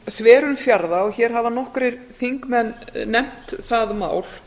þverun fjarða hér hafa nokkrir þingmenn nefnt það mál